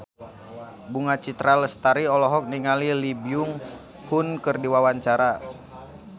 Bunga Citra Lestari olohok ningali Lee Byung Hun keur diwawancara